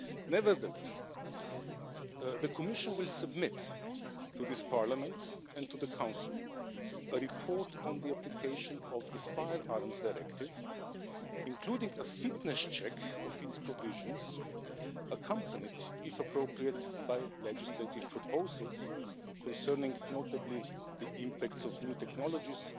Nevertheless, the Commission will submit to this Parliament and to the Council a report on the application of the Firearms Directive, including a fitness check of its provisions accompanied, if appropriate, by legislative proposals, notably concerning the impacts of new technologies